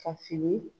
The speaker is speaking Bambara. Ka fini